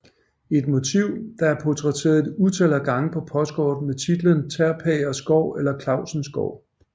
Et motiv der er portrætteret et utal af gange på postkort med titlen Terpagers gård eller Clausens gård